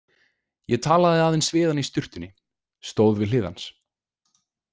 Ég talaði aðeins við hann í sturtunni, stóð við hlið hans.